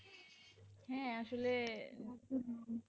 হ্যাঁ আসলে ,